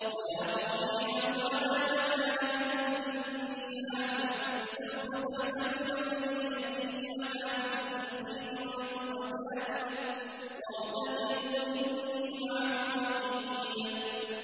وَيَا قَوْمِ اعْمَلُوا عَلَىٰ مَكَانَتِكُمْ إِنِّي عَامِلٌ ۖ سَوْفَ تَعْلَمُونَ مَن يَأْتِيهِ عَذَابٌ يُخْزِيهِ وَمَنْ هُوَ كَاذِبٌ ۖ وَارْتَقِبُوا إِنِّي مَعَكُمْ رَقِيبٌ